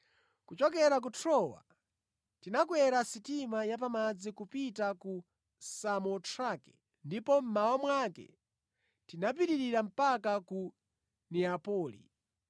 Kuchokera ku Trowa tinakwera sitima ya pamadzi kupita ku Samotrake ndipo mmawa mwake tinapitirira mpaka ku Neapoli.